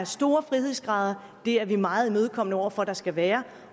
stor frihedsgrad er vi meget imødekommende over for der skal være